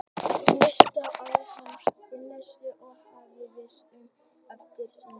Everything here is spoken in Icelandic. Næsta dag skrópaði hann í setuliðsvinnunni og hóf að svipast um eftir nýju starfi.